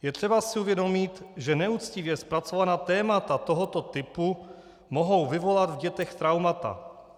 Je třeba si uvědomit, že neuctivě zpracovaná témata tohoto typu mohou vyvolat v dětech traumata.